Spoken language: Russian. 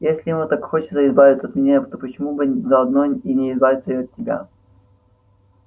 если ему так хочется избавиться от меня то почему бы заодно не избавиться и от тебя